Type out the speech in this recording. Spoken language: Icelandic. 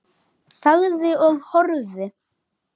Þagði og horfði.